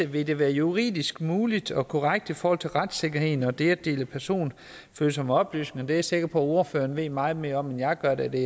vil det være juridisk muligt og korrekt i forhold til retssikkerheden og det at dele personfølsomme oplysninger det er jeg sikker på at ordføreren ved meget mere om end jeg gør da det